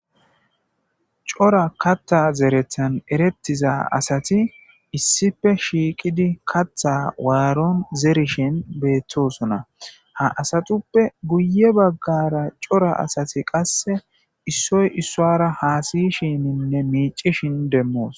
cora katta zerethan erettiza asati issife shiiqidi katha waaron zerishin beettosona ha asatuppe guye baggara cora asati qasse issoy issoara haasiyishininne miicishin demmoos